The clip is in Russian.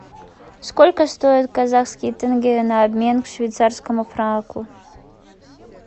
сколько стоит казахский тенге на обмен к швейцарскому франку